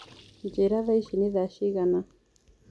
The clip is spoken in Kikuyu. njĩĩra thaaĩcĩ nĩ thaa cĩĩgana